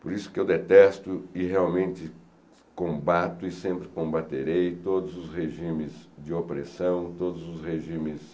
Por isso que eu detesto e realmente combato e sempre combaterei todos os regimes de opressão, todos os regimes